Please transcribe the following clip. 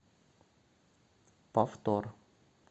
повтор